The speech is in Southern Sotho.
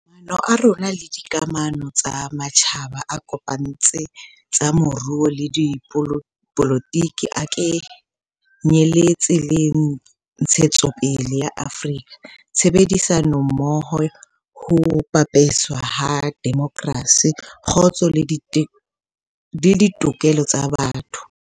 Maano a rona le dikamano tsa matjhaba a kopantse tsa moruo le dipolotiki a ke nyeletse le ntshetsopele ya Afrika, tshebedisanommoho, ho pepeswa ha demokrasi, kgotso le ditokelo tsa botho.